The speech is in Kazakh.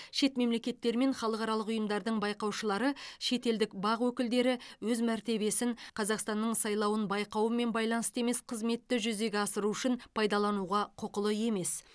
шет мемлекеттер мен халықаралық ұйымдардың байқаушылары шетелдік бақ өкілдері өз мәртебесін қазақстанның сайлауын байқаумен байланысты емес қызметті жүзеге асыру үшін пайдалануға құқылы емес